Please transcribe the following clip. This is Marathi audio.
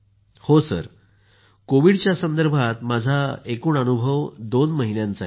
जी सर कोविडच्या संदर्भात माझा एकूण अनुभव दोन महिन्यांचा आहे